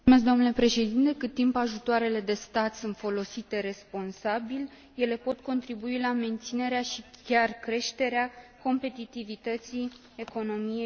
Cât timp ajutoarele de stat sunt folosite responsabil, ele pot contribui la menținerea și chiar creșterea competitivității economiei Uniunii.